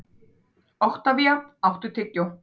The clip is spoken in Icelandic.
Oktavía, áttu tyggjó?